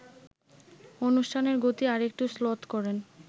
অনুষ্ঠানের গতি আরেকটু শ্লথ করেন